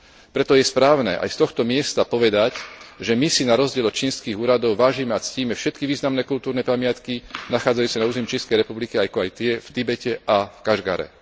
Preto je správne aj z tohto miesta povedať, že my si na rozdiel od čínskych úradov vážime a ctíme všetky významné kultúrne pamiatky nachádzajúce na území Čínskej republiky, ako aj tie v Tibete a v Kašgare.